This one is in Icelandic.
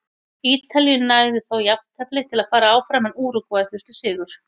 Ítalíu nægði þó jafntefli til að fara áfram en Úrúgvæ þurfti sigur.